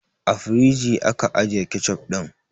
A firigi aka ajiye kecof ɗin